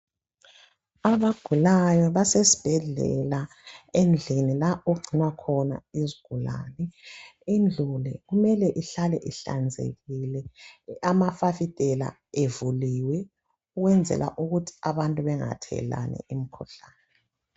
Abagulayo basesibhedlela endlini lapho okugcinwa khona izigulane. Indlu le kumele ihlale ihlanzekile, amafasitela evuliwe ukwenzela ukuthi abantu bengathelelani imikhuhlane.